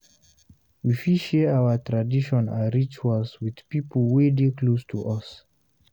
We fit share our tradition and rituals with pipo wey dey close to us